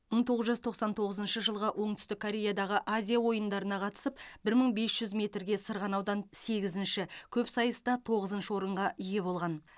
мың тоғыз жүз тоқсан тоғызыншы жылығы оңтүстік кореядағы азия ойындарына қатысып бір мың бес жүз метірге сырғанаудан сегізінші көпсайыста тоғызыншы орынға ие болған